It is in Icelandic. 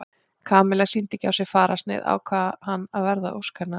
Kamilla sýndi ekki á sér fararsnið ákvað hann að verða að ósk hennar.